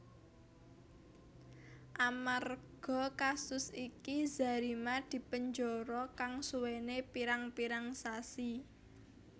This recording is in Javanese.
Amarga kasus iki Zarima dipenjara kang suwené pirang pirang sasi